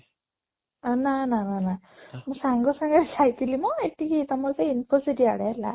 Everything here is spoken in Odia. ଆଁ ନା ନା ନା ନା ମୋ ସାଙ୍ଗ ସାଙ୍ଗେ ଯାଇଥିଲି ନା ନାଇଁ ଏଠିକି ତମ ସେଇ Infocity ଆଡେ ହେଲା